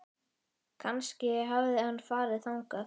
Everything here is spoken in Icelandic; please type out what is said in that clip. Kannski hafði hann farið þangað.